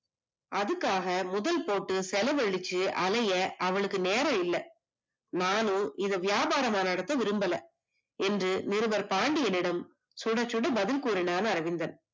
அதுக்காக முதல் போட்டு செலவலுச்சு அலைய அவளுக்கு நேரம் இல்ல. நானும் இத வியாபாரமா நடத்த விரும்பல, என்று நிருபர் பாண்டியனிடம் சுட சுட பதில் கூறுனான் அரவிந்தன்.